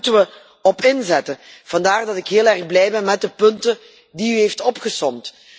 Daar moeten we op inzetten. Vandaar dat ik heel blij ben met de punten die u hebt opgesomd.